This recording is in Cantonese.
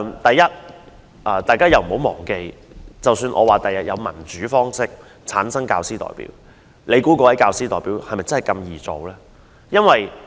大家不要忘記，即使日後有以民主方式產生的教師代表，你猜那位教師代表易做嗎？